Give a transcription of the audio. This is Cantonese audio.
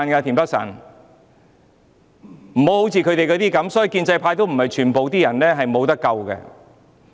田北辰議員，還有時間，建制派也不是全部都"無得救"。